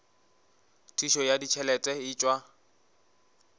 thušo ya ditšhelete e tšwa